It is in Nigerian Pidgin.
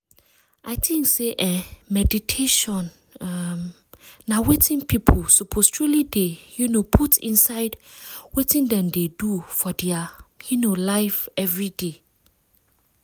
i think say eeh meditation um na wetin people suppose truely dey um put inside wetin dem dey do for dia um life everyday.